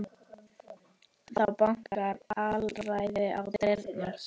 Þá bankar alræðið á dyrnar.